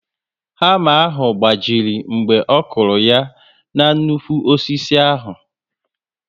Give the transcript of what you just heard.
Hama ahụ gbajiri mgbe ọkụrụ ya na nnukwu osisi ahụ